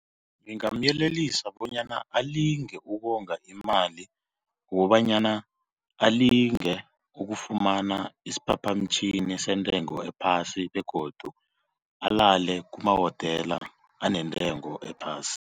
Ngingamyelelisa bonyana alinge ukonga imali ngokobanyana alinge ukufumana isiphaphamtjhini sentengo ephasi begodu alale kumawotela anentengo ephasi.